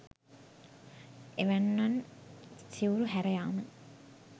එවැන්නන් සිවුරු හැර යාම